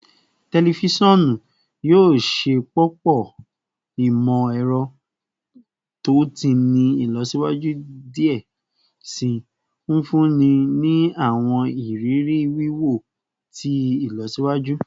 Tẹlifisiọnu yoo ṣepọpọ imọ-ẹrọ to ti ni ilọsiwaju diẹ sii, nfunni ni awọn iriri wiwo ti ilọsiwaju